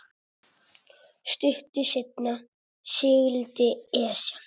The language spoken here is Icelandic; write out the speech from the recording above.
Stuttu seinna sigldi Esjan